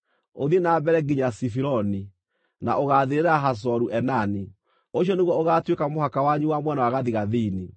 ũthiĩ na mbere nginya Zifironi, na ũgaathirĩra Hazoru-Enani. Ũcio nĩguo ũgaatuĩka mũhaka wanyu wa mwena wa gathigathini.